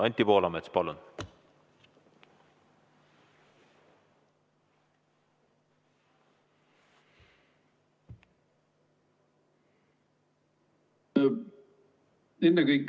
Anti Poolamets, palun!